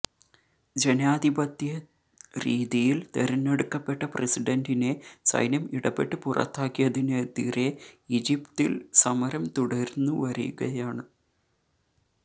ജനാധിപത്യരീതിയില് തെരെഞ്ഞെടുക്കപ്പെട്ട പ്രസിഡന്റിനെ സൈന്യം ഇടപെട്ട് പുറത്താകിയതിനെതിരെ ഈജിപ്തില് സമരം തുടര്ന്നുവരുകയാണ്